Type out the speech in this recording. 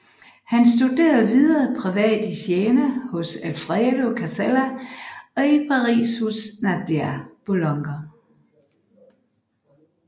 Han studerede videre privat i Siena hos Alfredo Casella og i Paris hos Nadia Boulanger